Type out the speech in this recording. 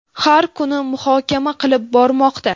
har kuni muhokama qilib bormoqda.